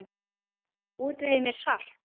Útvegið mér salt!